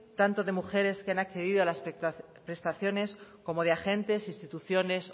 tanto de mujeres que han accedido a las prestaciones como de agentes instituciones